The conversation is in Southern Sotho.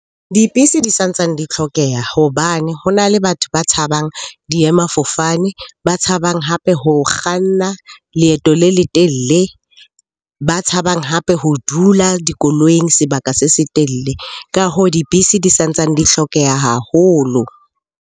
Dibese di sa ntsane di tlhokeha hobane ho na le batho ba tshabang diemafofane, ba tshabang hape ho kganna leeto le letelle, ba tshabang hape ho dula dikoloing sebaka se setelle. Ka hoo, dibese di sa ntsane di hlokeha haholo.